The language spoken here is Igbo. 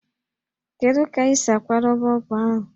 Kedu ka esi akwadebe ọgwụ ahụ?